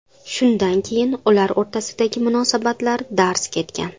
Shundan keyin ular o‘rtasidagi munosabatlar darz ketgan.